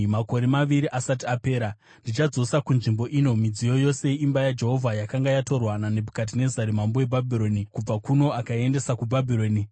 Makore maviri asati apera, ndichadzosa kunzvimbo ino midziyo yose yeimba yaJehovha yakanga yatorwa naNebhukadhinezari mambo weBhabhironi kubva kuno akaiendesa kuBhabhironi.